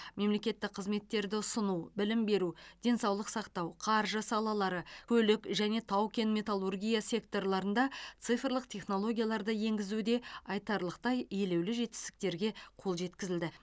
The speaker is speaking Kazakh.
мемлекеттік қызметтерді ұсыну білім беру денсаулық сақтау қаржы салалары көлік және тау кен металлургия секторларында цифрлық технологияларды енгізуде айтарлықтай елеулі жетістіктерге қол жеткізілді